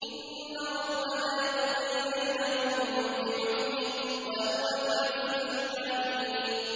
إِنَّ رَبَّكَ يَقْضِي بَيْنَهُم بِحُكْمِهِ ۚ وَهُوَ الْعَزِيزُ الْعَلِيمُ